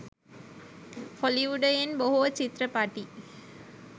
හොලිවුඩයෙන් බොහෝ චිත්‍රපටි